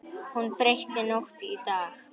Hún breytti nótt í dag.